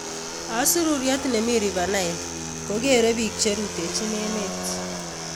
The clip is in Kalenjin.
Osurururwet nemii River Nile kogueere biik cheruutechin emet